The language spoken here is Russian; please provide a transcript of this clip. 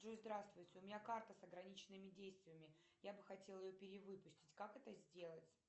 джой здравствуйте у меня карта с ограниченными действиями я бы хотела ее перевыпустить как это сделать